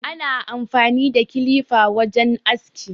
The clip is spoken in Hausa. Ana amfani da kilifa wajen aski